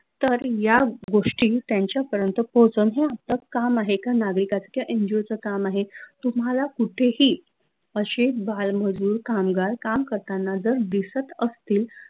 तर, या गोष्टी त्यांच्या पर्यंत पोहोचवन त काम आहे एका नागरिकाचं किंव्हा NGO च काम आहे तुम्हाला कुठे ही अशे बाल मजूर कामगार काम करतांना जर, दिसत असतील